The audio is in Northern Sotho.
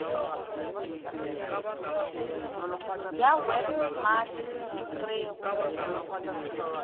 ya web smart re go